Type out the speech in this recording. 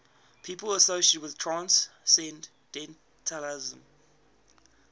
people associated with transcendentalism